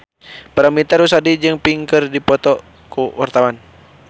Paramitha Rusady jeung Pink keur dipoto ku wartawan